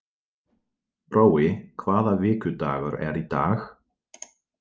Brói, hvaða vikudagur er í dag?